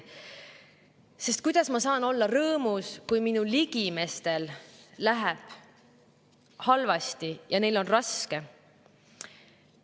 Kuidas ma saan olla rõõmus, kui minu ligimestel läheb halvasti ja neil on raske?